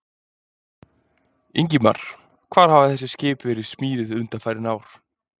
Ingimar: Hvar hafa þessi skip verið smíðuð undanfarin ár?